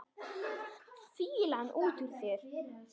Fýlan út úr þér!